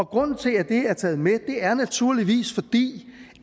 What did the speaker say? grunden til at det er taget med er naturligvis